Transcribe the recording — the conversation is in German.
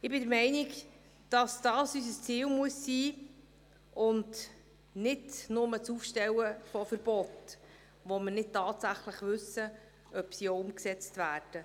Ich bin der Meinung, dies müsse unser Ziel sein und nicht bloss das Aufstellen von Verboten, von denen wir nicht wirklich wissen, ob sie denn auch umgesetzt werden.